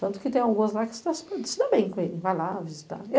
Tanto que tem algumas lá que se dão super, se dão bem com ele, vai lá visitar.